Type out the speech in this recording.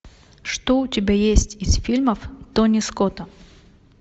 что у тебя есть из фильмов тони скотта